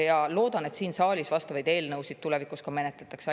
Ma loodan, et siin saalis vastavaid eelnõusid tulevikus ka menetletakse.